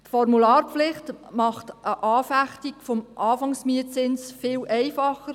Die Formularpflicht macht eine Anfechtung des Anfangsmietzinses viel einfacher.